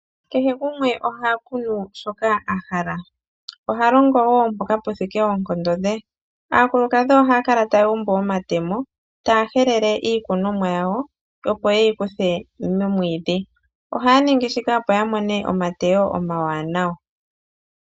Kehe gumwe oha kunu shoka a hala, oha longo woo mpoka pu thike oonkondo dhe . Aakulukadhi ohaya kala taya umbu omatemo taa helele iikunonwa yayo, opo ye yi kuthe momwiidhi. Ohaya ningi shika opo ya mone omateyo omawanawa.